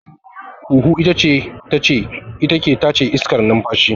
Huhu ita ke tace iskar numfashi